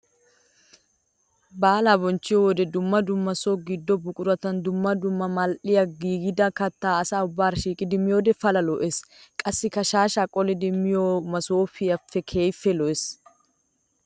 Baala bonchchiyo wode dumma dumma so gido buquratun dumma dumma mal'iya giigidda kattaa asaa ubbara shiiqiddi miyoode pala lo'ees. Qassikka shaashsha qollido masoofe keehippe lo'ees.